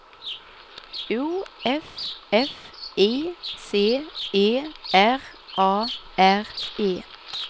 O F F I C E R A R E